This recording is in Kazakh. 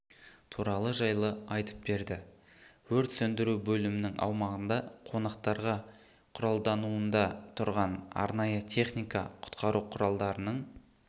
туралы жайлы айтып берді өрт сөндіру бөлімінің аумағында қонақтарға құралдануында тұрған арнайы техника құтқару құралдарының